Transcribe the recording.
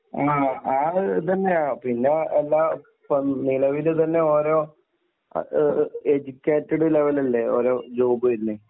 ആ ഒരു ഇത് തന്നെയാ. പിന്നെയെല്ലാം ഇപ്പൊ നിലവിൽ തന്നെ ഓരോ എഡ്യൂക്കേറ്റഡ് ലെവൽ അല്ലേ ഓരോ ജോബ് വരുന്നത്.